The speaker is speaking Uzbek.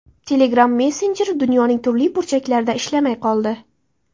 Telegram messenjeri dunyoning turli burchaklarida ishlamay qoldi.